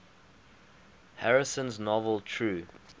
harrison's novel true